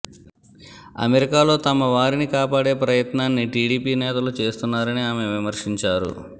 అమెరికాలో తమ వారిని కాపాడే ప్రయత్నాన్ని టిడిపి నేతలు చేస్తున్నారని ఆమె విమర్శించారు